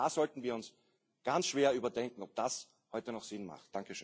Auch da sollten wir uns ganz schwer überdenken, ob das heute noch Sinn macht.